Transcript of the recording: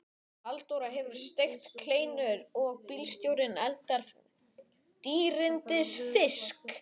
Halldóra hefur steikt kleinur og bílstjórinn eldað dýrindis fisk.